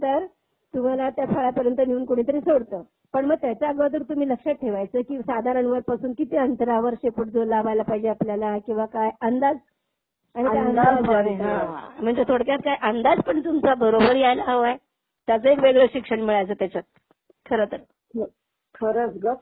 तुम्हाला त्या फळ्यापर्यंत नेऊन कोणीतरी सोडतं. पण मग त्याच्या अगोदर तुम्ही लक्षात ठेवायचं की साधारण वर पासून किती अंतरावर शेपूट लावायला पाहीजे आपल्याला. किंवा काय अंदाज अंदाज हां. म्हणजे थोडक्यात काय, अंदाज पण तुमचा बरोबर यायला हवाय. त्यांचं एक वेगळं शिक्षण मिळायचं त्याच्यात. खरतर